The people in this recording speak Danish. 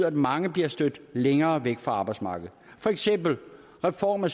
at mange bliver stødt længere væk fra arbejdsmarkedet for eksempel reformen af